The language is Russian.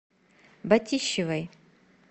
батищевой